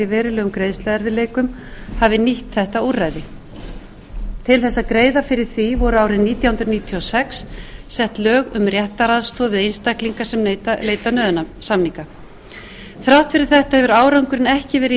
verulegum greiðsluerfiðleikum hafi nýtt þetta úrræði til að greiða fyrir því voru árið nítján hundruð níutíu og sex sett lög um réttaraðstoð við einstaklinga sem leita nauðasamninga þrátt fyrir þetta hefur árangurinn ekki verið í